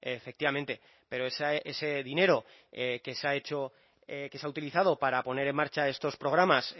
efectivamente pero ese dinero que se ha hecho que se ha utilizado para poner en marcha estos programas